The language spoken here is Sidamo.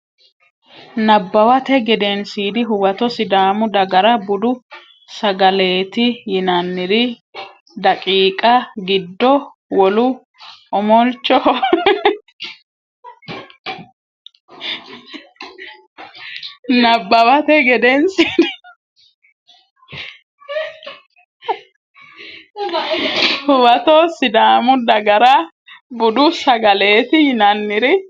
Nabbawate Gedensiidi Huwato Sidaamu dagara budu sagaleeti yinanniri daqiiqa giddo wolu omolchoho Nabbawate Gedensiidi Huwato Sidaamu dagara budu sagaleeti yinanniri.